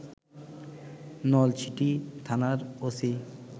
নলছিটি থানার ওসি